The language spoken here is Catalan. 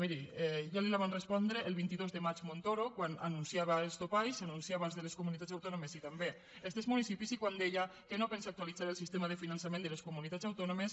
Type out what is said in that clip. miri ja li la va respondre el vint dos de maig montoro quan anunciava els topalls anunciava els de les comunitats autònomes i també els dels municipis i quan deia que no pensa actualitzar el sistema de finançament de les comunitats autònomes